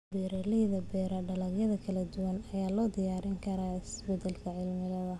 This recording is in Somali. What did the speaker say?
Beeraleyda beera dalagyo kala duwan ayaa loo diyaarin karaa isbedelka cimilada.